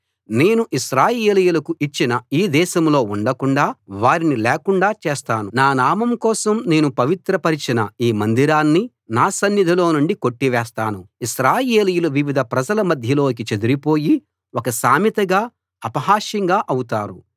నేను ఇశ్రాయేలీయులకు ఇచ్చిన ఈ దేశంలో ఉండకుండాా వారిని లేకుండా చేస్తాను నా నామం కోసం నేను పవిత్ర పరచిన ఈ మందిరాన్ని నా సన్నిధిలో నుండి కొట్టివేస్తాను ఇశ్రాయేలీయులు వివిధ ప్రజల మధ్యలోకి చెదరిపోయి ఒక సామెతగా అపహాస్యంగా అవుతారు